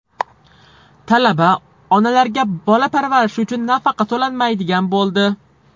Talaba onalarga bola parvarishi uchun nafaqa to‘lanmaydigan bo‘ldi.